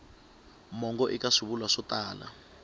mongo eka swivulwa swo tala